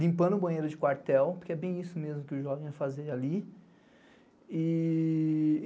Limpando o banheiro de quartel, porque é bem isso mesmo que o jovem ia fazer ali.